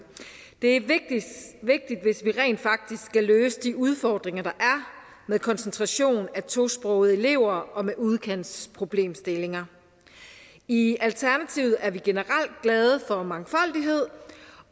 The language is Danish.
det er vigtigt hvis vi rent faktisk skal løse de udfordringer der er med koncentrationen af tosprogede elever og med udkantsproblemstillinger i alternativet er vi generelt glade for mangfoldighed